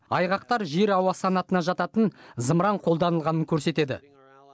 айғақтар жер ауа санатына жататын зымыран қолданылғанын көрсетеді